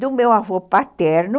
do meu avô paterno,